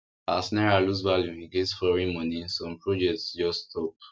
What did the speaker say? as naira lose value against foreign money some projects just stop